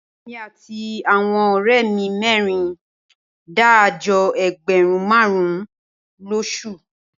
Èmi àti àwọn ọ̀rẹ́ mi mẹ́rin ń dá àjọ ẹgbẹ̀rún márùn-ún lóṣù